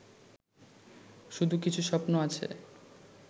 শুধু কিছু স্বপ্ন আছে